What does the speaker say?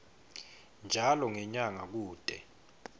njalo ngenyanga kute